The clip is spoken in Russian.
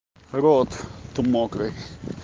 рот то мокрый